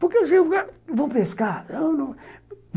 Porque eu chego lá, vamos pescar?